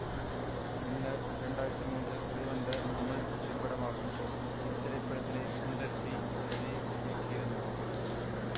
winner இரண்டாயிரத்தி மூன்றில் வெளிவந்த தமிழ் திரைப்படமாகும் இத்திரைப்படத்தினை சுந்தர் சி எழுதி இயக்கியிருந்தார்